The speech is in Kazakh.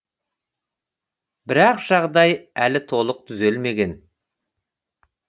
бірақ жағдай әлі толық түзелмеген